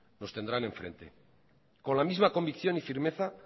nos tendrán enfrente con la misma convicción y firmeza